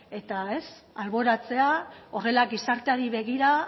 eta alboratzea horrela gizarteari begira